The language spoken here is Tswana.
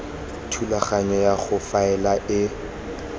thulaganyo ya go faela e